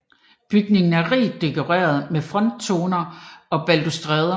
Bygningen er rigt dekoreret med frontoner og balustrader